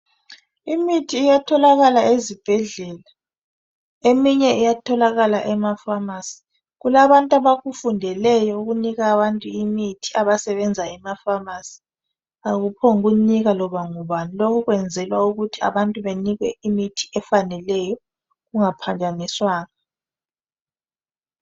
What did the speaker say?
Imithi iyatholakala ezibhedlela, eminye iyatholakala emafamasi. Kulabantu abakufundeleyo ukunika abantu imithi abasebenza emafamasi, akuphongunika loba ngubani, lokho kwenzelwa ukuthi abantu banikwe imithi efaneleyo kungaphazanyiswanga.